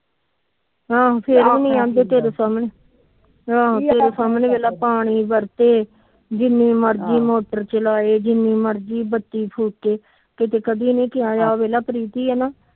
ਹਾਂ ਹਮ ਤੇਰੇ ਸਾਮਣੇ ਦੇਖਲਾ ਪਾਣੀ ਜਿਨੀ ਮਰਜੀ ਮੋਟਰ ਚਲਾਏ ਜਿਨੀ ਮਰਜੀ ਬੱਤੀ ਫੂਕੇ ਕਿਤੇ ਕਦੀ ਨੀ ਕਿਹਾ